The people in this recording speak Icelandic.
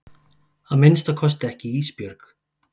Að minnsta kosti ekki Ísbjörg.